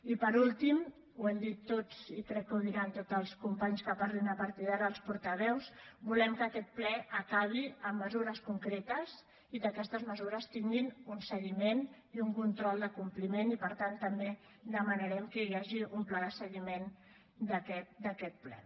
i per últim ho hem dit tots i crec que ho diran tots els companys que parlin a partir d’ara els portaveus volem que aquest ple acabi amb mesures concretes i que aquestes mesures tinguin un seguiment i un control de compliment i per tant també demanarem que hi hagi un pla de seguiment d’aquest ple